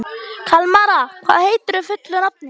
Kalmara, hvað heitir þú fullu nafni?